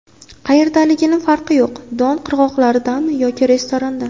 Qayerdaligini farqi yo‘q Don qirg‘oqlaridami yoki restoranda.